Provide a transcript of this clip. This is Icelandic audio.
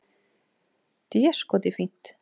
Déskoti fínt.